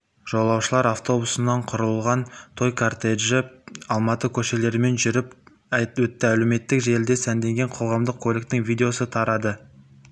жолаушылар автобусынан құралған той кортежі алматы көшелерімен жүріп өтті әлеуметтік желіде сәнденген қоғамдық көліктің видеосы тарады